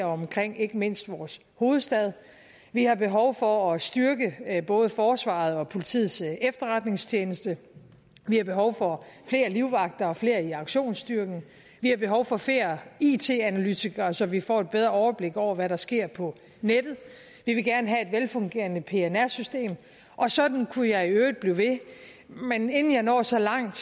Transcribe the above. omkring ikke mindst vores hovedstad vi har behov for at styrke både forsvarets efterretningstjeneste og politiets efterretningstjeneste vi har behov for flere livvagter og flere i aktionsstyrken vi har behov for flere it analytikere så vi får et bedre overblik over hvad der sker på nettet vi vil gerne have et velfungerende pnr system og sådan kunne jeg i øvrigt blive ved men inden jeg når så langt